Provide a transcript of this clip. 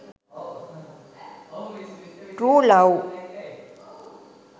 true love